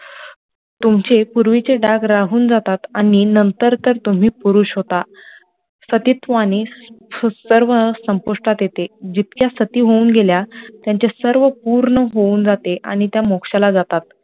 तुमचे पुर्वी चे डाग राहुन जातात आणी नंतर तर तुम्ही पुरुष होता सतित्व आणी सर्व संपुष्टात येते, जितक्या सती होउन गेल्या त्यांचे पूर्ण होउन जाते आणी ते मोक्षाला जातात